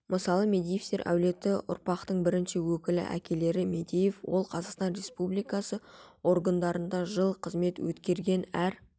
мысалы мадеевтер әулеті ұрпақтың бірінші өкілі әкелері мадеев ол қазақстан республикасы органдарында жыл қызмет өткерген әр